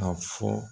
A fɔ